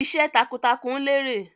Iṣẹ́ takuntakun lérè.